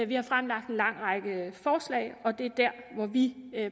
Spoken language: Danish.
vi har fremlagt en lang række forslag og det er der hvor vi